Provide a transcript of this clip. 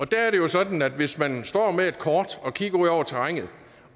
der er det jo sådan at hvis man står med et kort og kigger ud over terrænet